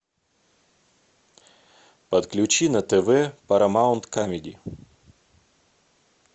подключи на тв парамаунт камеди